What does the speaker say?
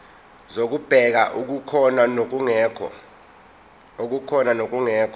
zokubheka okukhona nokungekho